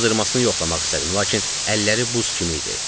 Qızdırmasını yoxlamaq istədim, lakin əlləri buz kimi idi.